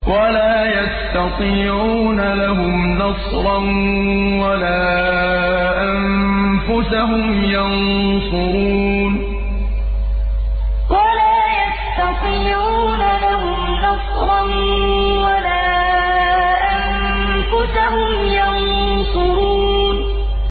وَلَا يَسْتَطِيعُونَ لَهُمْ نَصْرًا وَلَا أَنفُسَهُمْ يَنصُرُونَ وَلَا يَسْتَطِيعُونَ لَهُمْ نَصْرًا وَلَا أَنفُسَهُمْ يَنصُرُونَ